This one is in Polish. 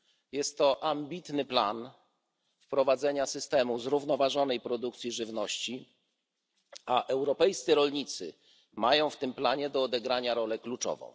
Jest to ambitny plan wprowadzenia systemu zrównoważonej produkcji żywności, a europejscy rolnicy mają w tym planie do odegrania rolę kluczową.